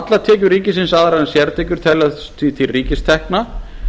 allar tekjur ríkisins aðrar en sértekjur teljast því til ríkistekna